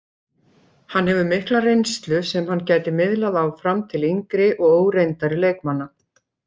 Hann hefur mikla reynslu sem hann gæti miðlað áfram til yngri og óreyndari leikmanna.